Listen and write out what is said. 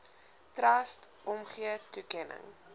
trust omgee toekenning